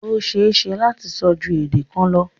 O ṣẹ lati sọ̀ ju èdè kàn lọ